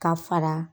Ka fara